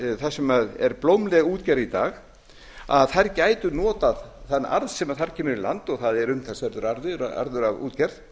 þar sem er blómleg útgerð í dag gætu notað þann arð sem þar kemur í land og það er umtalsverður arður af útgerð